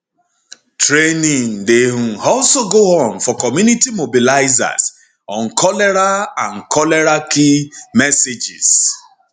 training dey um also go on for community mobilizers on cholera on cholera key messages